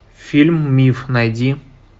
фильм миф найди